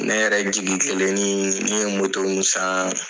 Ne yɛrɛ jigi kelen nii, ne ye mun saan